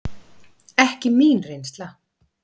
Ekki mín reynsla.